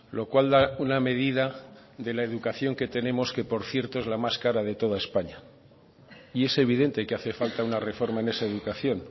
lo cual da una medida de la educación que tenemos que por cierto es la más cara de toda españa y es evidente que hace falta una reforma en esa educación